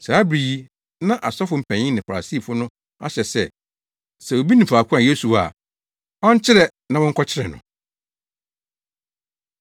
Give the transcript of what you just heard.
Saa bere yi na asɔfo mpanyin ne Farisifo no ahyɛ sɛ, sɛ obi nim faako a Yesu wɔ a, ɔnkyerɛ na wɔnkɔkyere no.